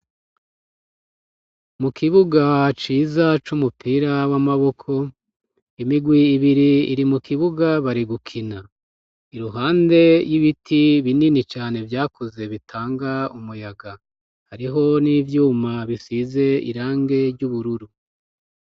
Mu kibuga ciza c'umupira w'amaboko, imigwi ibiri iri mu kibuga bari gukina, iruhande y'ibiti binini cane vyakuze bitanga umuyaga, hariho n'ivyuma bisize irangi ry'ubururu.